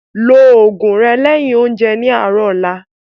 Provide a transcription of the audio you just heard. Ló oògùn rẹ lẹ́yin oúnjẹ ní àárọ̀ ọ̀la